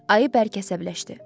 Ayı bərk əsəbləşdi.